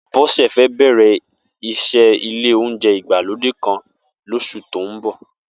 Bó̩sè̩ fé̩ bè̩rè̩ is̩é̩ ilé oúnje̩ ìgbálódé kan os̩ù tó ń bò̩